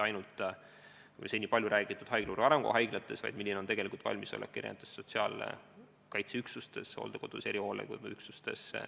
Ja seda mitte ainult seni palju räägitud haiglavõrgu arengukava haiglates, vaid ka erinevates sotsiaalkaitse üksustes, hooldekodudes, erihoolde üksustes.